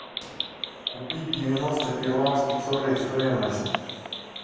купить девяносто перуанских солей стоимость